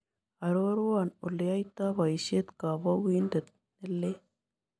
Aroruan oleyoito boisiet koopuukiindet nelel